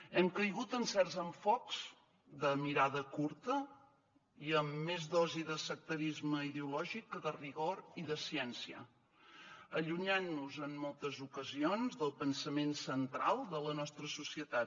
hem caigut en certs enfocaments de mirada curta i amb més dosi de sectarisme ideològic que de rigor i de ciència allunyant nos en moltes ocasions del pensament central de la nostra societat